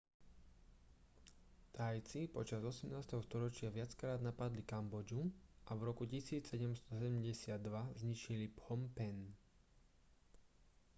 thajci počas 18. storočia viackrát napadli kambodžu a v roku 1772 zničili phnom phen